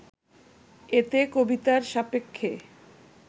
এতে কবিতার সাপেক্ষে